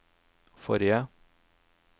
forrige